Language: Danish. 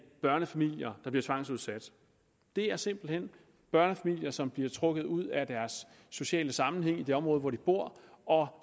børnefamilier der bliver tvangsudsat det er simpelt hen børnefamilier som bliver trukket ud af deres sociale sammenhæng i det område hvor de bor og